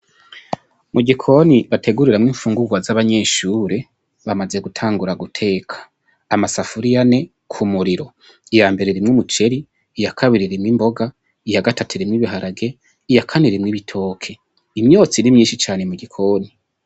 Mugikoni bateguriramwo imfungurwa z'abanyeshure ,bamaze gutangura aguteka ,masafuriya ane k'umuriro. Iya mbere irimwo umuceri, itakabiri irimwo imboga, iya gatatu irimwo ibiharage, iya kane ibitoke, imyotsi ni myinshi cane mugikoni.